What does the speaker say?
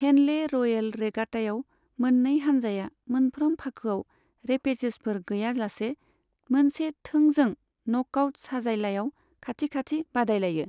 Henley royal रेगाटायाव, मोन्नै हानजाया मोनफ्रोम फाखोआव रेपेचेजफोर गैयालासे मोनसे थोंजों न'कआउट साजायलायाव खाथि खाथि बादायलायो।